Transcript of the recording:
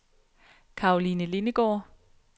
Karoline Lindegaard